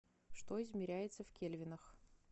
что измеряется в кельвинах